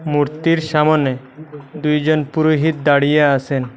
মূর্তির সামোনে দুইজন পুরোহিত দাঁড়িয়ে আসেন।